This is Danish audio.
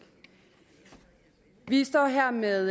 vi står her med